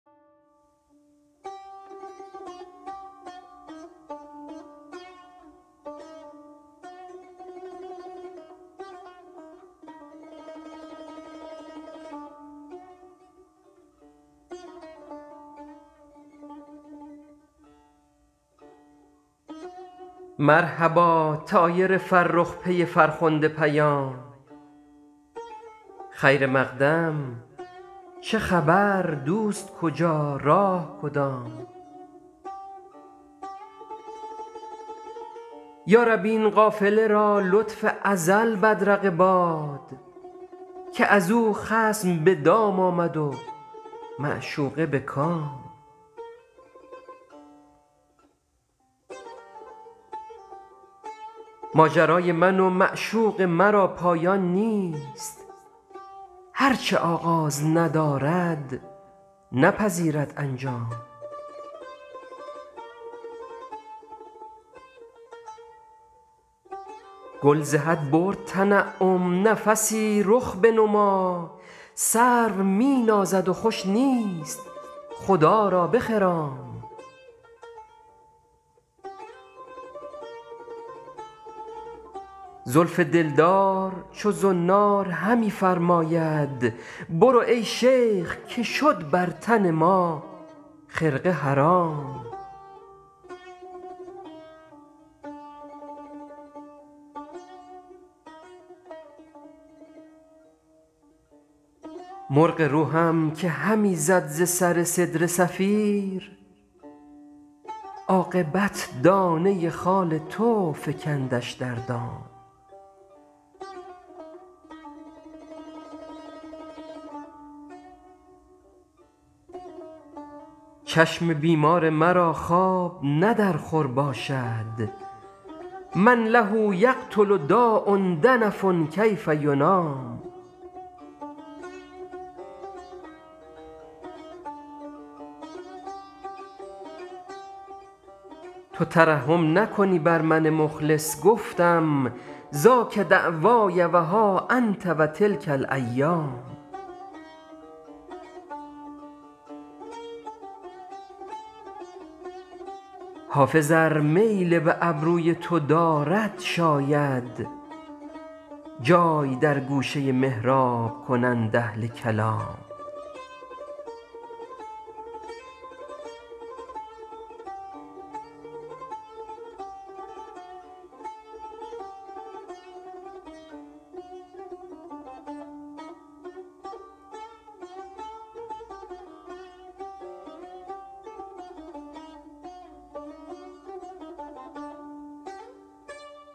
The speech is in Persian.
مرحبا طایر فرخ پی فرخنده پیام خیر مقدم چه خبر دوست کجا راه کدام یا رب این قافله را لطف ازل بدرقه باد که از او خصم به دام آمد و معشوقه به کام ماجرای من و معشوق مرا پایان نیست هر چه آغاز ندارد نپذیرد انجام گل ز حد برد تنعم نفسی رخ بنما سرو می نازد و خوش نیست خدا را بخرام زلف دلدار چو زنار همی فرماید برو ای شیخ که شد بر تن ما خرقه حرام مرغ روحم که همی زد ز سر سدره صفیر عاقبت دانه خال تو فکندش در دام چشم بیمار مرا خواب نه در خور باشد من له یقتل داء دنف کیف ینام تو ترحم نکنی بر من مخلص گفتم ذاک دعوای و ها انت و تلک الایام حافظ ار میل به ابروی تو دارد شاید جای در گوشه محراب کنند اهل کلام